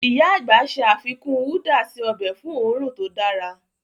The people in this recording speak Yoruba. Íyá àgbà ṣe àfikún údà si ọbẹ̀ fun õrùn to dára.